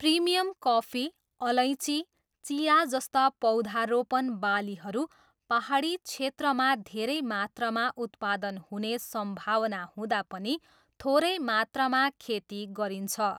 Premium coffee, अलैँची, चिया जस्ता पौधारोपण बालीहरू पाहाडी क्षेत्रमा धेरै मात्रामा उत्पादन हुने सम्भावना हुँदा पनि थोरै मात्रामा खेती गरिन्छ।